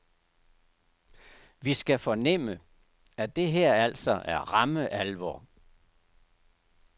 Vi skal fornemme, at det her altså er ramme alvor.